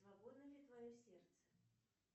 свободно ли твое сердце